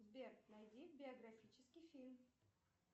сбер найди биографический фильм